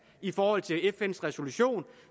i forhold til fns resolution